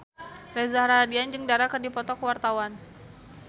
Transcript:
Reza Rahardian jeung Dara keur dipoto ku wartawan